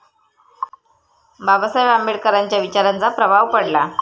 बाबासाहेब आंबेडकरांच्या विचारांचा प्रभाव पडला.